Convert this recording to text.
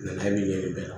Nabi ye